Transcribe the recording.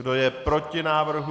Kdo je proti návrhu?